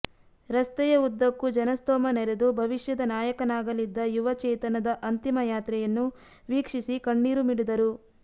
ರಸ್ತೆಯ ಉದ್ದಕ್ಕೂ ಜನಸ್ತೋಮ ನೆರೆದು ಭವಿಷ್ಯದ ನಾಯಕನಾಗಲಿದ್ದ ಯುವ ಚೇತನದ ಅಂತಿಮ ಯಾತ್ರೆಯನ್ನು ವೀಕ್ಷಿಸಿ ಕಣ್ಣೀರು ಮಿಡಿದರು